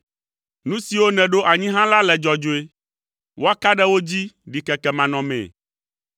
Nu siwo nèɖo anyi hã la le dzɔdzɔe, woaka ɖe wo dzi ɖikeke manɔmee.